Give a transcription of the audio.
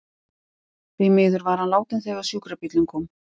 Því miður var hann látinn þegar sjúkrabíllinn kom.